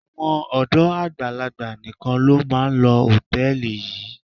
Àwọn ọ̀dọ́ àgbàlagbà nìkan ló máa ń lo hòtẹ́ẹ̀lì yìí.